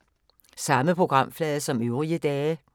Samme programflade som øvrige dage